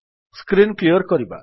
screen clear କରିବା